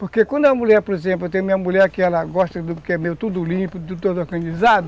Porque quando a mulher, por exemplo, eu tenho minha mulher que ela gosta do que é meio tudo limpo, tudo organizado,